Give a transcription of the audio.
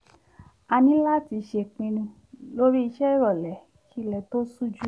a ní láti ṣèpinu lórí ìṣe ìròlẹ́ kí ilẹ̀ tó ṣú jù